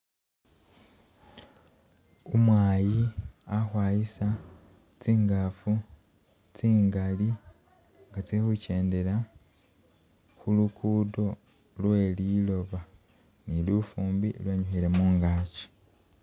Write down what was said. Umwayi ali khukhwayisa tsingaafu tsingaali nga tsili khu kyendela khu lukudo lwe liloba, ni lufumbi lwenyukhile mungaki.